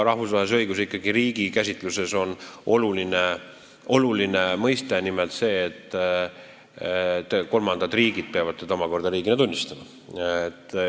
Rahvusvahelises õiguses on ikkagi riigi käsitluses oluline nimelt see, et kolmandad riigid peavad teda omakorda riigina tunnistama.